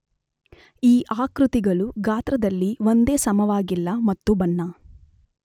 ಈ ಆಕೃತಿಗಳು ಗಾತ್ರದಲ್ಲಿ ಒಂದೇ ಸಮವಾಗಿಲ್ಲ ಮತ್ತು ಬಣ್ಣ